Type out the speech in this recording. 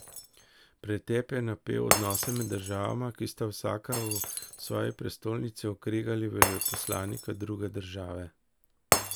Pretep je napel odnose med državama, ki sta vsaka v svoji prestolnici okregali veleposlanika druge države.